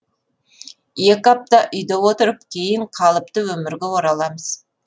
екі апта үйде отырып кейін қалыпты өмірге ораламыз